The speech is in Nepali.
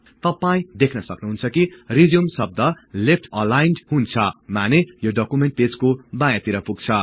तपाई देख्नुहुन्छ कि रिज्युम शब्द लेफ्ट अलाइन्ड हुन्छ माने यो डकुमेन्ट पेजको बायाँतिर पुग्छ